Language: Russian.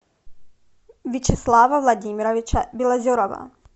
вячеслава владимировича белозерова